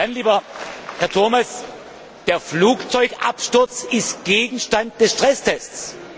Lieber Herr Turmes, ein Flugzeugabsturz ist Gegenstand des Stresstests.